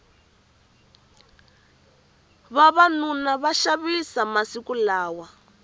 vavanuna va xavisa masiku lawa